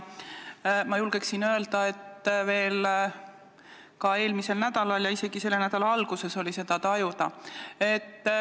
Ma julgen öelda, et veel ka eelmisel nädalal ja isegi selle nädala alguses oli seda tunda.